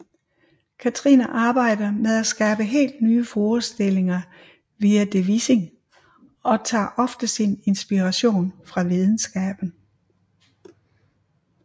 Katrine arbejder med at skabe helt nye forestillinger via devising og tager ofte sin inspiration fra videnskaben